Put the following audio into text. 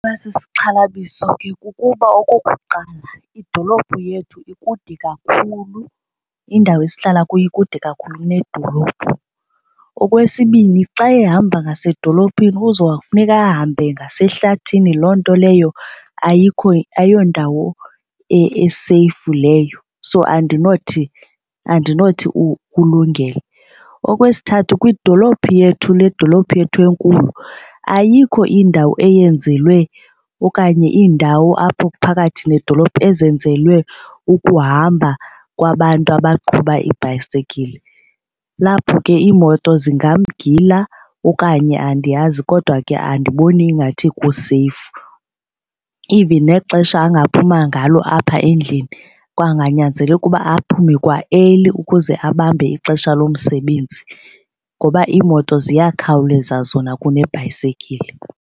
Iba sisixhalabiso ke kukuba okokuqala idolophu yethu ikude kakhulu, indawo esihlala kuyo ikude kakhulu nedolophu. Okwesibini, xa ehamba ngasedolophini kuzofuneka ahambe ngasehlabathini, loo nto leyo ayikho ayondawo eseyifu leyo so andinothi ulungele. Okwesithathu, kwidolophu yethu le dolophu yethu enkulu ayikho indawo eyenzelwe okanye indawo apho phakathi nedolophu ezenzelwe ukuhamba kwabantu abaqhuba ibhayisekile. Lapho ke iimoto zingamgila okanye andiyazi kodwa ke andiboni ingathi kuseyifu. Even nexesha angaphuma ngalo apha endlini kwanganyanzeleka ukuba aphume kwa early ukuze abambe ixesha lomsebenzi ngoba iimoto ziyakhawuleza zona kunebhayisekile.